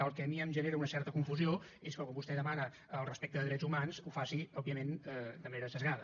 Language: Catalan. el que a mi em genera una certa confusió és que quan vostè demana el respecte de drets humans ho faci òbviament de manera esbiaixada